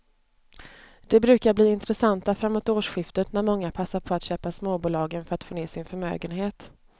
De brukar bli intressanta framåt årsskiftet när många passar på att köpa småbolagen för att få ner sin förmögenhet.